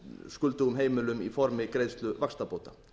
skuldugum heimilum í formi greiðslu vaxtabóta